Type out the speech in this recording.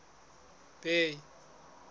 bay